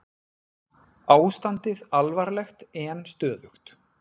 Ástandið alvarlegt en stöðugt